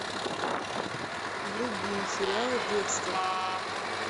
вруби сериал декстер